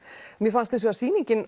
mér fannst hins vegar sýningin